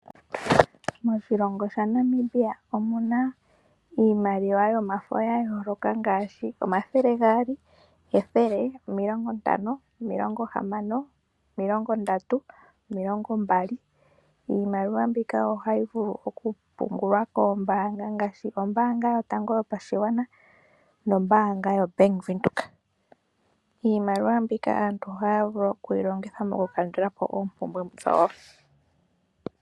Moshilongo shaNamibia omu na iimaliwa yomafo ya yooloka ngaashi omathele gaali, ethele, omilongo ntano, omilongo hamano, omilongo ndatu, omilongo mbali. Iimaliwa mbika ohayi vulu okupungulwa koombaanga ngaashi ombaanga yotango yopashigwana no Bank Windhoek. Iimaliwa mbika aantu ohaya vulu okuyi longitha mokukandula po oompumbwe dhawo.